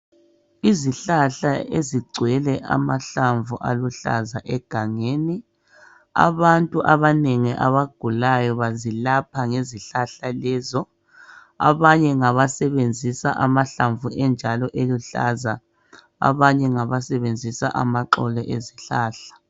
Izihlala ezigcwele amahlamvu aluhlaza egangeni. Abantu abanengi abagulayo bazilapha ngezihlahla lezo, abanye ngabasebenzisa amahlamvu enjalo eluhlaza abanye ngabasebenzisa amaxolo ezihlahla